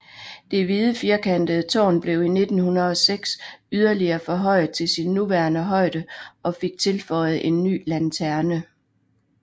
Det hvide firkantede tårn blev i 1906 yderligere forhøjet til sin nuværende højde og fik tilføjet en ny lanterne